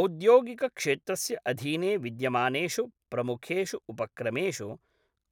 औद्योगिकक्षेत्रस्य अधीने विद्यमानेषु प्रमुखेषु उपक्रमेषु